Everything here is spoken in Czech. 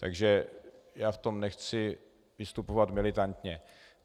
Takže já v tom nechci vystupovat militantně.